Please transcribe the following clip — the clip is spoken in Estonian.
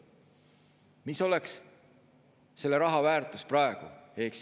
Mis oleks selle raha väärtus praegu?